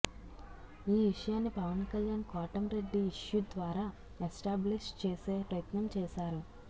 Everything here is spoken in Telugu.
ఈ విషయాన్ని పవన్ కల్యాణ్ కోటంరెడ్డి ఇష్యూ ద్వారా ఎస్టాబ్లిష్ చేసే ప్రయత్నం చేశారు